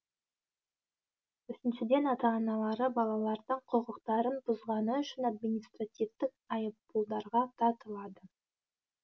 үшіншіден ата аналары балаларының құқықтарын бұзғаны үшін административтік айыппұлдарға тартылады